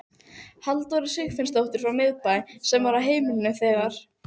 Halldóru Sigfinnsdóttur frá Miðbæ, sem var á heimilinu þegar